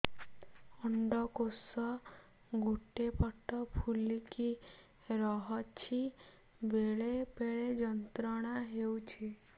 ଅଣ୍ଡକୋଷ ଗୋଟେ ପଟ ଫୁଲିକି ରହଛି ବେଳେ ବେଳେ ଯନ୍ତ୍ରଣା ହେଉଛି